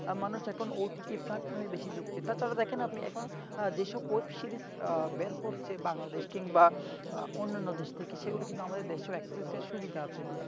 মানুষ এখন OTT platform বেশি ঝুকছে তার কারণ আপনি দেখেন যেসব web series বের হচ্ছে বাংলাদেশ কিংবা অন্যান্য দেশ থেকে সেগুলো কিন্তু আমাদের দেশেও access র সুবিধা আছে